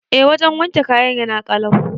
Eh wajan wanke kayan yana kalau